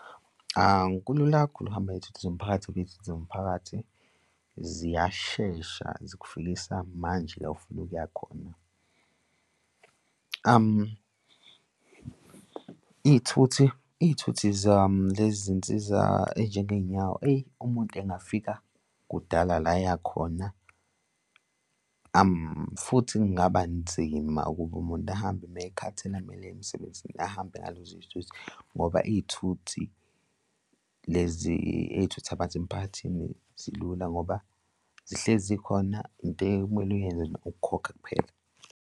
Kulula kakhulu ukuhamba ngey'thuthi zomphakathi ngoba iy'thuthi zomphakathi ziyashesha zikufikisa manje la ofuna ukuya khona. Iy'thuthi, iy'thuthi lezi zey'nsiza ey'njenge y'nyawo, eyi, umuntu engafika kudala la eya khona futhi kungaba nzima ukuba umuntu ahambe uma ey'khathini ekumele aye emsebenzini ahambe ngalezo zithuthi ngoba iy'thuthi lezi ey'thutha abantu emphakathini zilula ngoba zihlezi zikhona into ekumele uyenze nje ukukhokha kuphela.